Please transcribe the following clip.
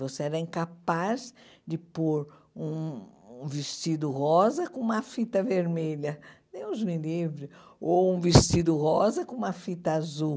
Você era incapaz de pôr um um vestido rosa com uma fita vermelha, Deus me livre, ou um vestido rosa com uma fita azul.